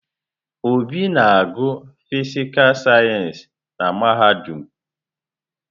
Obi na-agụ fịsịkà sayensị na mahadum.